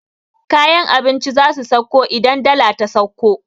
Kayan abinci zasu sauko idan dala ta sauko